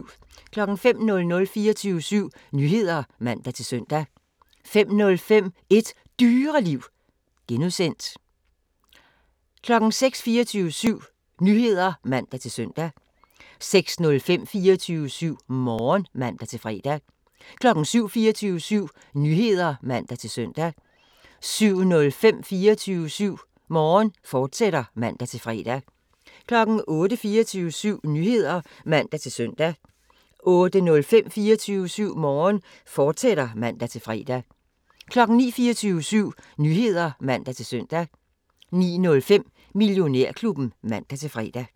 05:00: 24syv Nyheder (man-søn) 05:05: Et Dyreliv (G) 06:00: 24syv Nyheder (man-søn) 06:05: 24syv Morgen (man-fre) 07:00: 24syv Nyheder (man-søn) 07:05: 24syv Morgen, fortsat (man-fre) 08:00: 24syv Nyheder (man-søn) 08:05: 24syv Morgen, fortsat (man-fre) 09:00: 24syv Nyheder (man-søn) 09:05: Millionærklubben (man-fre)